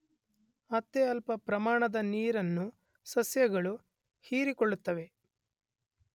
ಅತ್ಯಲ್ಪ ಪ್ರಮಾಣದ ನೀರನ್ನು ಸಸ್ಯಗಳು ಹೀರಿಕೊಳ್ಳುತ್ತವೆ.